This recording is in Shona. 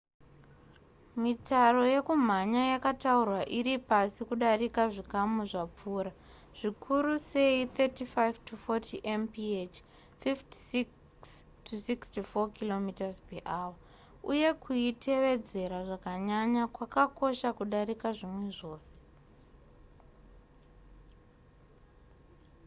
mitaro yekumhanya yakataurwa iri pasi kudarika zvikamu zvapfuura_ zvikuru sei 35-40 mph 56-64 km/h - uye kuitevedzera zvakanyanya kwakakosha kudarika zvimwe zvose